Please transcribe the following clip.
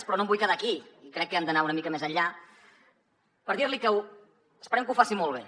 però no em vull quedar aquí i crec que hem d’anar una mica més enllà per dir li que esperem que ho faci molt bé